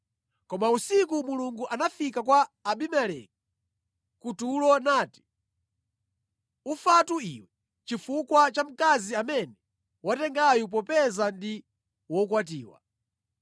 Koma usiku, Mulungu anafika kwa Abimeleki kutulo nati, “Ufatu iwe chifukwa cha mkazi amene watengayu popeza ndi wokwatiwa.”